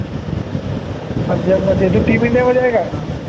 पंजाबमध्ये तो team इंडियामध्ये आहे का